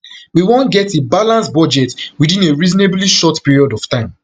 we wan get a balanced budget within a reasonably short period of time